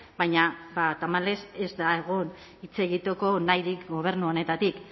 baina tamalez ez da egon hitz egiteko nahirik gobernu honetatik